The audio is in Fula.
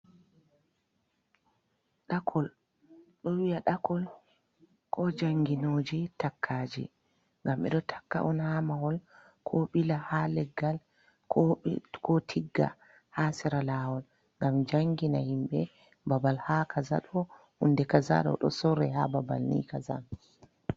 .Ɗakol ɗo wi'a ɗakol ko jannginooji takkaaji, ngam ɓe ɗo takka on haa mahol ,ko ɓila ha leggal ko tigga ha sera laawol, ngam janngina himɓe babal ha kaja, ɗo hunde kaja ɗo, ɗo sorre ha babal ni kaza.